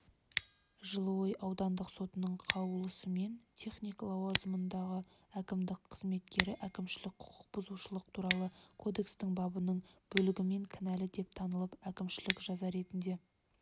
жылыой аудандық сотының қаулысымен техник лауазымындағы әкімдік қызметкері әкімшілік құқық бұзушылық туралы кодекстің бабының бөлігімен кінәлі деп танылып әкімшілік жаза ретінде